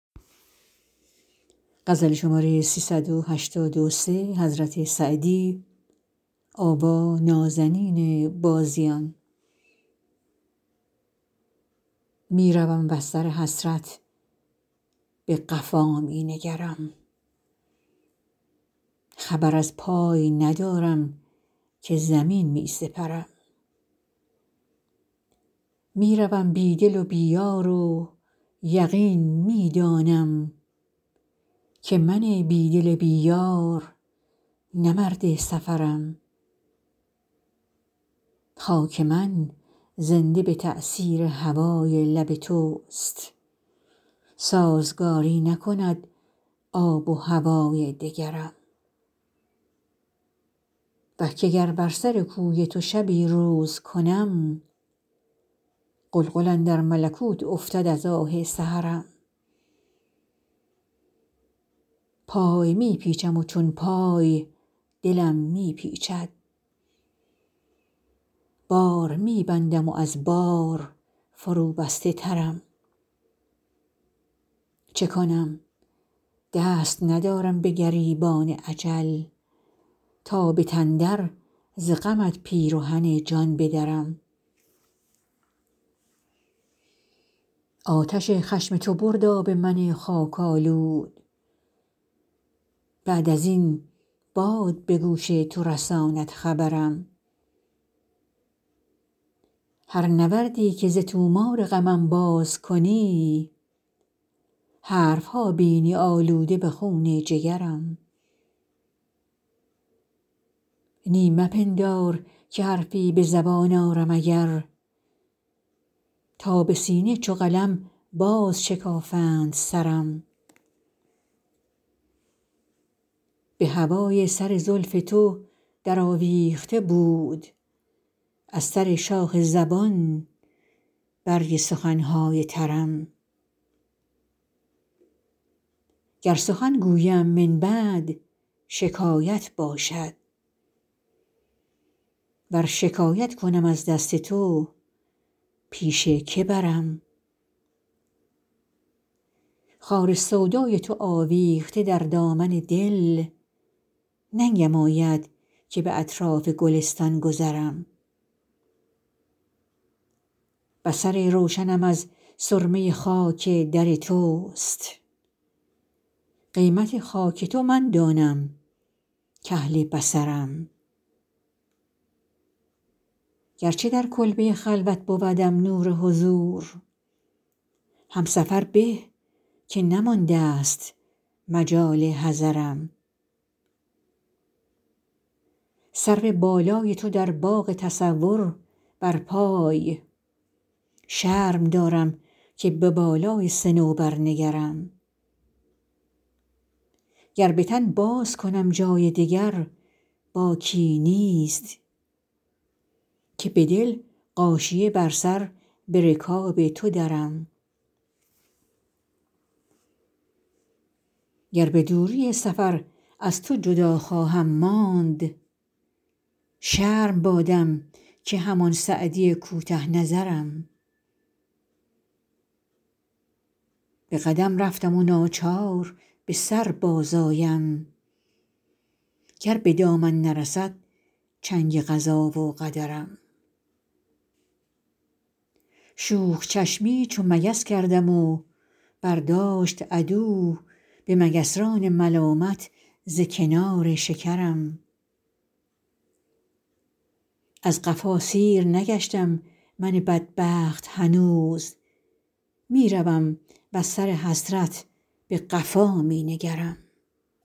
می روم وز سر حسرت به قفا می نگرم خبر از پای ندارم که زمین می سپرم می روم بی دل و بی یار و یقین می دانم که من بی دل بی یار نه مرد سفرم خاک من زنده به تأثیر هوای لب توست سازگاری نکند آب و هوای دگرم وه که گر بر سر کوی تو شبی روز کنم غلغل اندر ملکوت افتد از آه سحرم پای می پیچم و چون پای دلم می پیچد بار می بندم و از بار فروبسته ترم چه کنم دست ندارم به گریبان اجل تا به تن در ز غمت پیرهن جان بدرم آتش خشم تو برد آب من خاک آلود بعد از این باد به گوش تو رساند خبرم هر نوردی که ز طومار غمم باز کنی حرف ها بینی آلوده به خون جگرم نی مپندار که حرفی به زبان آرم اگر تا به سینه چو قلم بازشکافند سرم به هوای سر زلف تو درآویخته بود از سر شاخ زبان برگ سخن های ترم گر سخن گویم من بعد شکایت باشد ور شکایت کنم از دست تو پیش که برم خار سودای تو آویخته در دامن دل ننگم آید که به اطراف گلستان گذرم بصر روشنم از سرمه خاک در توست قیمت خاک تو من دانم کاهل بصرم گرچه در کلبه خلوت بودم نور حضور هم سفر به که نماندست مجال حضرم سرو بالای تو در باغ تصور برپای شرم دارم که به بالای صنوبر نگرم گر به تن بازکنم جای دگر باکی نیست که به دل غاشیه بر سر به رکاب تو درم گر به دوری سفر از تو جدا خواهم ماند شرم بادم که همان سعدی کوته نظرم به قدم رفتم و ناچار به سر بازآیم گر به دامن نرسد چنگ قضا و قدرم شوخ چشمی چو مگس کردم و برداشت عدو به مگسران ملامت ز کنار شکرم از قفا سیر نگشتم من بدبخت هنوز می روم وز سر حسرت به قفا می نگرم